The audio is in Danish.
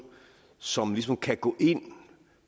som ligesom kan gå ind